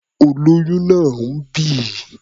Olóyún náà ń bì.